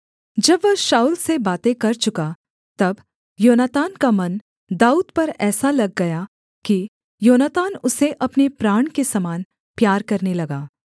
जब वह शाऊल से बातें कर चुका तब योनातान का मन दाऊद पर ऐसा लग गया कि योनातान उसे अपने प्राण के समान प्यार करने लगा